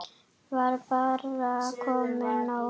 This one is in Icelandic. Var bara komið nóg?